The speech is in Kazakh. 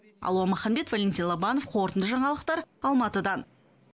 алуа маханбет валентин лобанов қорытынды жаңалықтар алматыдан